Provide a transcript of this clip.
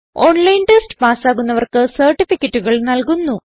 online test പാസ്സാകുന്നവർക്ക് സർട്ടിഫികറ്റുകൾ നല്കുന്നു